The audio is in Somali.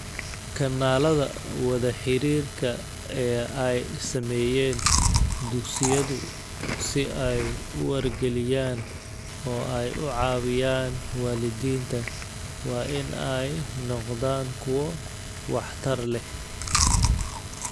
Kanaalada wada-xiriirka ee ay sameeyeen dugsiyadu si ay u wargeliyaan oo ay u caawiyaan waalidiinta waa in ay noqdaan kuwo waxtar leh